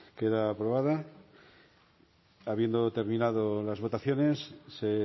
queda aprobada habiendo terminado las votaciones se